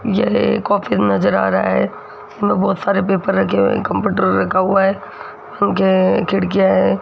Office नज़र आ रहा है इसमें बहुत सारे पेपर रखे हुए हैं कंप्यूटर रखा हुआ है पंखे हैं खिड़कियां हैं।